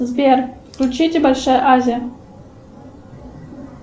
сбер включите большая азия